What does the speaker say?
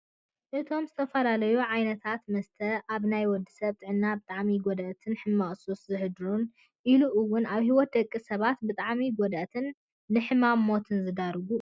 እቶም ዝተፈላለዩ ዓይነታት መስታ ኣብ ናይ ወዲ ሰብ ጥዕና ብጣዕሚ ጎዳእትን ሕማቅ ሱስ ዘሕድሩን ኢሉ እውን ኣብ ሂወት ደቂ ሰባት ብጣዕሚ ጎዳእትን ንሕማምን ሞትን ዝዳርጉ እዮም፡፡